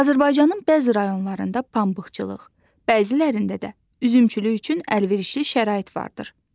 Azərbaycanın bəzi rayonlarında pambıqçılıq, bəzilərində də üzümçülük üçün əlverişli şərait vardır.